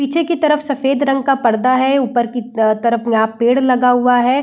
पीछे की तरफ सफ़ेद रंग का पर्दा है ऊपर की तरफ यहाँ पेड़ लगा हुआ है।